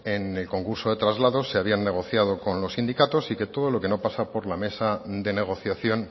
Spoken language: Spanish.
en el concurso de traslados se habían negociado con los sindicatos y que todo lo que no pasa por la mesa de negociación